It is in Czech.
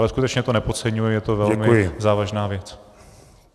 Ale skutečně to nepodceňuji, je to velmi závažná věc.